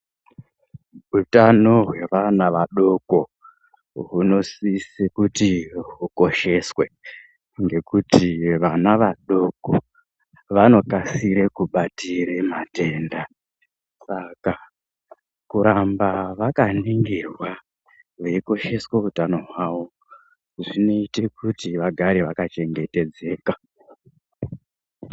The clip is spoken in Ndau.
Utano hwevana vadoko hunosise kuti hukosheswe ngekuti vana vadoko vanokasire kubatira matenda, saka kuramba vakaningirwa veikosheswe utano hwavo zvinoite kuti vagare vakachengetedzeka.